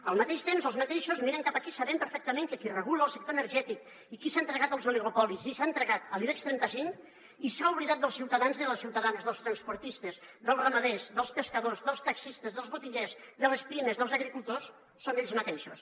al mateix temps els mateixos miren cap aquí sabent perfectament que qui regula el sector energètic i qui s’ha entregat als oligopolis i s’ha entregat a l’ibex trenta cinc i s’ha oblidat dels ciuta·dans i les ciutadanes dels transportistes dels ramaders dels pescadors dels taxis·tes dels botiguers de les pimes dels agricultors són ells mateixos